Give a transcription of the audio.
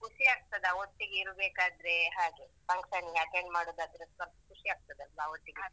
ಖುಷಿಯಾಗ್ತದಾ ಒಟ್ಟಿಗೆ ಇರ್ಬೇಕಾದ್ರೆ ಹಾಗೆ, function ಗೆ attend ಮಾಡುದಾದ್ರೇಸ ಸ್ವಲ್ಪ ಖುಷಿಯಾಗ್ತದಲ್ವಾ ಒಟ್ಟಿಗೆ ಇದ್ರೆ.